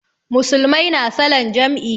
Musulmai na salan jam'i